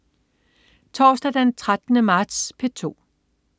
Torsdag den 13. marts - P2: